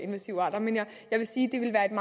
invasive arter jeg vil sige